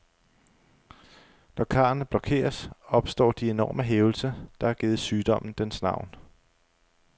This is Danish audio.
Når karrene blokeres, opstår de enorme hævelser, der har givet sygdommen dens navn.